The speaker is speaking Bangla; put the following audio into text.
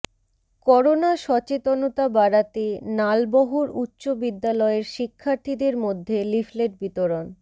করোনা সচেতনতা বাড়াতে নালবহর উচ্চ বিদ্যালয়ের শিক্ষার্থীদের মধ্যে লিফলেট বিতরণ